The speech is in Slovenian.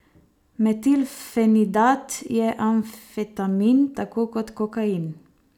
Metilfenidat je amfetamin, tako kot kokain.